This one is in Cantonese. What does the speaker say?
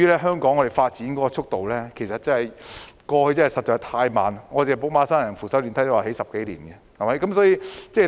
香港過去的發展速度實在太慢，寶馬山扶手電梯項目也花了10多年時間興建。